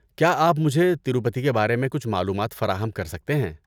کیا آپ مجھے تروپتی کے بارے میں کچھ معلومات فراہم کر سکتے ہیں؟